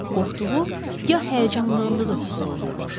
Qorxduğu, ya həyəcanlandığı hiss olunurmuş.